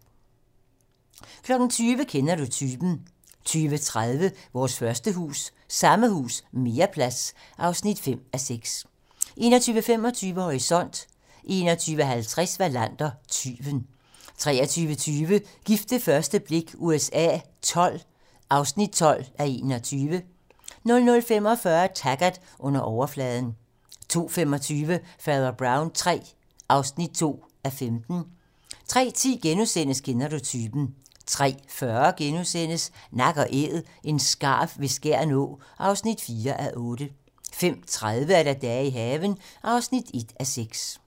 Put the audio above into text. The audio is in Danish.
20:00: Kender du typen? 20:30: Vores første hus - Samme hus - mere plads (5:6) 21:25: Horisont 21:50: Wallander: Tyven 23:20: Gift ved første blik USA XII (12:21) 00:45: Taggart: Under overfladen 02:25: Fader Brown III (2:15) 03:10: Kender du typen? * 03:40: Nak & Æd - en skarv ved Skjern Å (4:8)* 05:30: Dage i haven (1:6)